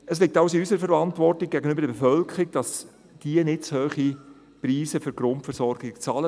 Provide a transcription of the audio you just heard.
Es liegt also in unserer Verantwortung gegenüber der Bevölkerung, dass diese nicht zu hohe Preise für die Grundversorgung bezahlen.